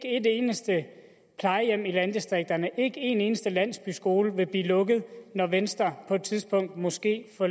eneste plejehjem i landdistrikterne og ikke en eneste landsbyskole vil blive lukket når venstre på et tidspunkt måske får